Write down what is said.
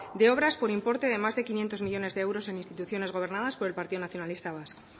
de obras por importe de más de quinientos millónes de euros en instituciones gobernadas por el partido nacionalista vasco